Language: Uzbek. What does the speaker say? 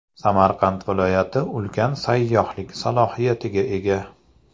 Samarqand viloyati ulkan sayyohlik salohiyatiga ega.